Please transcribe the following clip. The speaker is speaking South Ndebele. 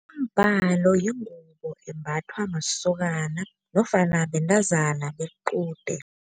Umbhalo yingubo embathwa masokana nofana bentazana bequde.